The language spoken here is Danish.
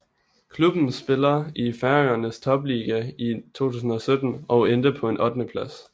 Klubben spiller i Færøernes topliga i 2017 og endte på en ottendeplads